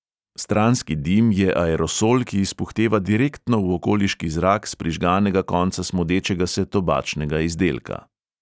Stranski dim je aerosol, ki izpuhteva direktno v okoliški zrak s prižganega konca smodečega se tobačnega izdelka.